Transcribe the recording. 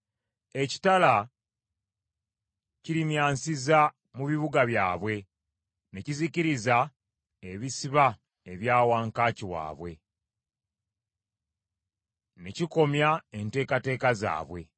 Ekitala kirimyansiza mu bibuga byabwe ne kizikiriza ebisiba ebya wankaaki waabwe, ne kikomya enteekateeka zaabwe.